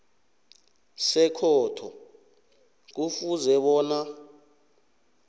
sekhotho kufuze bona